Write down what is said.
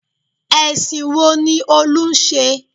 Ẹ̀sìn wo ni Olú ń ṣe?